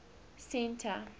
centre